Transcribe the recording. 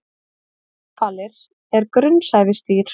Náhvalir er grunnsævisdýr.